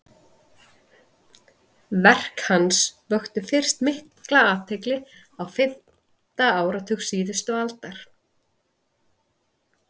verk hans vöktu fyrst mikla athygli á fimmta áratug síðustu aldar